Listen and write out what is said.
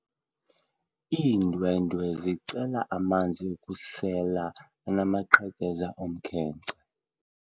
Iindwendwe zicela amanzi okusela anamaqhekeza omkhenkce.